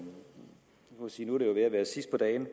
ved at være sidst på dagen